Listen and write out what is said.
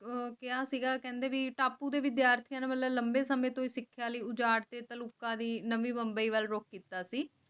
ਰੁਕੀਆਂ ਸਿਰਾ ਕਹਿੰਦੇ ਦੀ ਟਾਪੂ ਦੇ ਵਿਦਿਆਰਥੀਆਂ ਵੱਲੋਂ ਲੰਮੇ ਸਮੇਂ ਤੋਂ ਸਿੱਖਿਆ ਲਓ ਝਾੜ ਤੇ ਤਲਬ ਕੀਤਾ ਸੀ